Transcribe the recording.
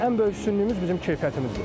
Ən böyük üstünlüyümüz bizim keyfiyyətimizdir.